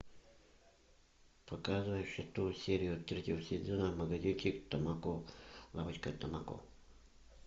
покажи шестую серию третьего сезона магазинчик тамако лавочка тамако